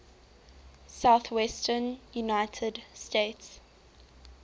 southwestern united states